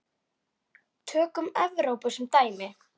Tökum Evrópu sem dæmi.